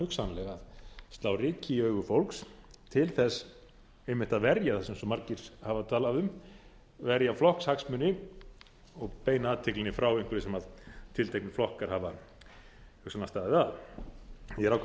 hugsanlega að slá ryki í augu fólks til þess einmitt að verja það sem svo margir alla talað um verja flokkshagsmuni og beina athyglinni frá einhverju sem tilteknir flokkar hafa hugsanlega staðið að ég er ákaflega